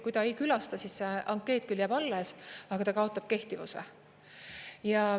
Kui ta ei külasta, siis see ankeet küll jääb alles, aga ta kaotab kehtivuse.